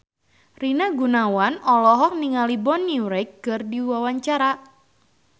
Rina Gunawan olohok ningali Bonnie Wright keur diwawancara